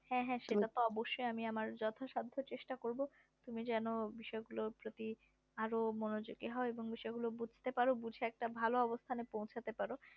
হ্যাঁ হ্যাঁ সেটা তো অবশ্যই আমি আমার যত সাদ্ধ চেষ্টা করবো তুমি যেন বিষয় গুলোর প্রতি আরো মনোযোগী হও এবং বিষয় গুলো বুঝতে পারো কিছু একটা ভালো অবস্থানে পৌঁছাতে পারো